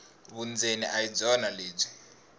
vundzeni a hi byona lebyi